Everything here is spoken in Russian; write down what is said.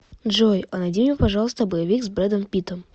джой а найди мне пожалуйста боевик с брэдом питтом